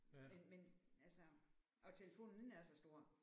Men men altså og telefonen ikke er så stor